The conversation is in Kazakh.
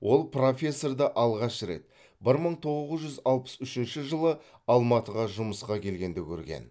ол профессорды алғаш рет бір мың тоғыз жүз алпыс үшінші жылы алматыға жұмысқа келгенде көрген